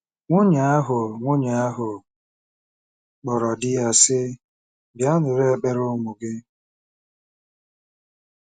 Nwunye ahụ Nwunye ahụ kpọrọ di ya, sị, "Bịa nụrụ ekpere ụmụ gị."